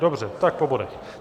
Dobře, tak po bodech.